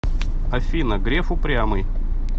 афина греф упрямый